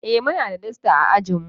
Eh muna da dasta a ajin mu.